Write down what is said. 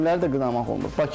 Həkimləri də qınamaq olmur.